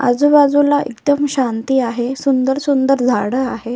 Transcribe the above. आजूबाजूला एकदम शांती आहे सुंदर सुंदर झाड आहे.